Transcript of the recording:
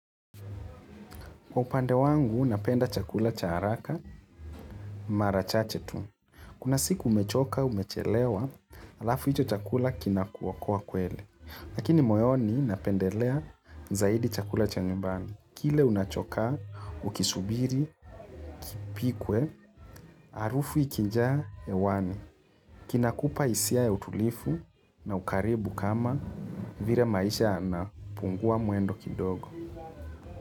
Kwa upande wangu, napenda chakula cha haraka, mara chache tu. Kuna siku umechoka, umechelewa, alafu hicho chakula kinakuwa kwa kwele. Lakini moyoni napendelea zaidi chakula cha nyumbani. Kile unachokaa, ukisubiri, kipikwe, harufu ikijaa, hewani. Kinakupa hisia ya utulifu na ukaribu kama vire maisha yanapungua mwendo kidogo.